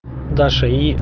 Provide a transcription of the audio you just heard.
даша и